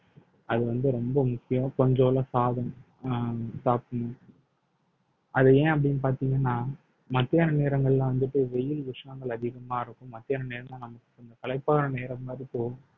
அது வந்து ரொம்ப முக்கியம் அஹ் சாப்பிடணும் அது ஏன் அப்படின்னு பார்த்தீங்கன்னா மத்தியான நேரங்கள்ல வந்துட்டு வெயில் உஷ்ணங்கள் அதிகமா இருக்கும் மத்தியான நேரம்தான் நமக்கு களைப்பான நேரம் மாதிரி போகும்